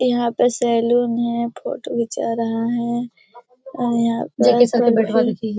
यहाँ पे सैलून है फोटो घीचा रहा है और यहाँ पे --